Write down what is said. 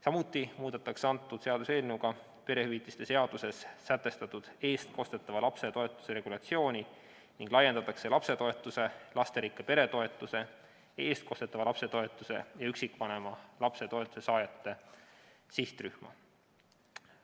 Samuti muudetakse seaduseelnõuga perehüvitiste seaduses sätestatud eestkostetava lapse toetuse regulatsiooni ning laiendatakse lapsetoetuse, lasterikka pere toetuse, eestkostetavate lapse toetuse ja üksikvanema lapse toetuse saajate sihtrühma.